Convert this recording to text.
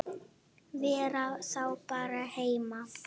Vera þá bara heima?